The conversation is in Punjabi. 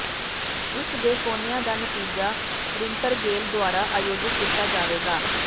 ਇਸ ਦੇ ਕੋਨਿਆਂ ਦਾ ਨਤੀਜਾ ਰਿਤਰੰਗੇਲ ਦੁਆਰਾ ਆਯੋਜਿਤ ਕੀਤਾ ਜਾਵੇਗਾ